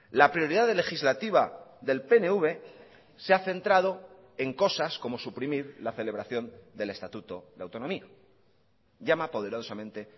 la prioridad legislativa del pnv se ha centrado en cosas como suprimir la celebración del estatuto de autonomía llama poderosamente